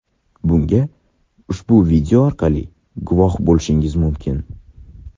Bunga ushbu video orqali guvoh bo‘lishingiz mumkin !